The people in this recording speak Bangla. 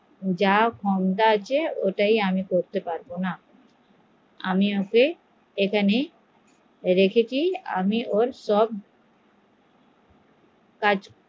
যা ক্ষমতা আছে আমি করতে পারবো না আমি ওর সব